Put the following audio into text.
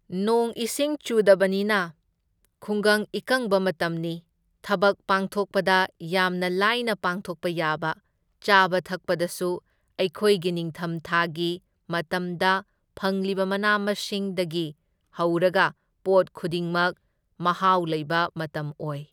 ꯅꯣꯡ ꯏꯁꯤꯡ ꯆꯨꯗꯕꯅꯤꯅ ꯈꯨꯡꯒꯪ ꯏꯀꯪꯕ ꯃꯇꯝꯅꯤ, ꯊꯕꯛ ꯄꯥꯡꯊꯣꯛꯄꯗ ꯌꯥꯝꯅ ꯂꯥꯏꯅ ꯄꯥꯡꯊꯣꯛꯄ ꯌꯥꯕ, ꯆꯥꯕ ꯊꯛꯄꯗꯁꯨ ꯑꯩꯈꯣꯏꯒꯤ ꯅꯤꯡꯊꯝꯊꯥꯒꯤ ꯃꯇꯝꯗ ꯐꯪꯂꯤꯕ ꯃꯅꯥ ꯃꯁꯤꯡꯗꯒꯤ ꯍꯧꯔꯒ ꯄꯣꯠ ꯈꯨꯗꯤꯃꯛ ꯃꯍꯥꯎ ꯂꯩꯕ ꯃꯇꯝ ꯑꯣꯢ꯫